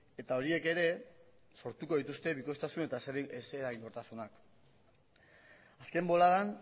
eta horiek ere sortuko dituzte bikoiztasun eta ez eraginkortasunak azken boladan